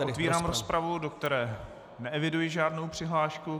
Otvírám rozpravu, do které neeviduji žádnou přihlášku.